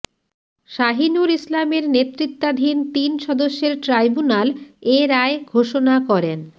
শাহিনুর ইসলামের নেতৃত্বাধীন তিন সদস্যের ট্রাইব্যুনাল এ রায় ঘোষণা করেন